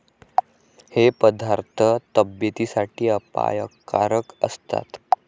हे पदार्थ तब्येतीसाठी अपायकारक असतात.